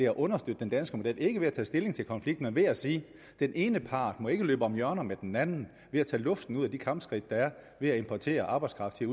at understøtte den danske model ikke ved at tage stilling til konflikten men ved at sige at den ene part ikke må løbe om hjørner med den anden ved at tage luften ud af de kampskridt ved at importere arbejdskraft til